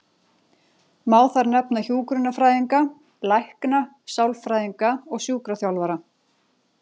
Má þar nefna hjúkrunarfræðinga, lækna, sálfræðinga og sjúkraþjálfara.